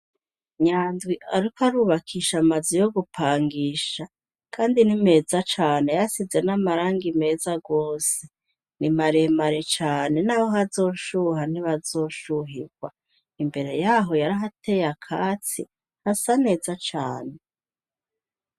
Nyanzwi, ariko arubakisha amazi yo gupangisha, kandi ni meza cane yasize n'amaranga imeza rwose ni maremare cane, naho hazoshuha ntibazoshuhirwa imbere yaho yarihateye akatsi hasa neza cane.